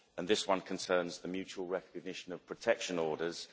This one concerns the mutual recognition of protection orders.